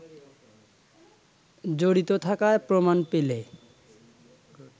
জড়িত থাকার প্রমাণ পেলে